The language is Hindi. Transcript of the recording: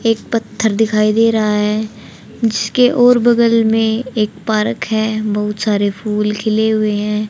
एक पत्थर दिखाई दे रहा है जिसके ओर बगल में एक पारक पार्क है बहुत सारे फूल खिले हुए हैं।